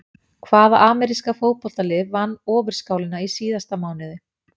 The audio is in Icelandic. Hvaða ameríska fótboltalið vann Ofurskálina í síðasta mánuði?